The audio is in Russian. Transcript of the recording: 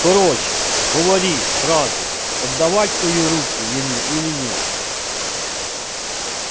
короче говори сразу отдавать твою руку ему или нет